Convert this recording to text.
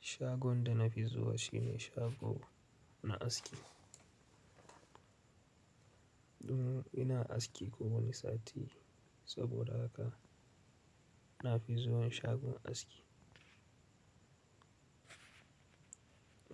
Shagon da na fi zuwa shi ne shago na aski. Umm ina aski kowani sati saboda haka na fi zuwan shagon aski.